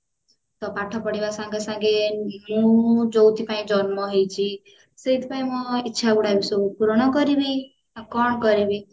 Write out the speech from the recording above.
ତ ପାଠ ପଢିବା ସାଙ୍ଗେସାଙ୍ଗେ ଯୋଉଥି ପାଇଁ ଜନ୍ମ ହେଇଛି ସେଇଥି ପାଇଁ ମୋ ଇଚ୍ଛା ଗୁଡାକ ସବୁ ପୂରଣ କରିବି ଆଉ କଣ କରିବି